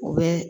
U bɛ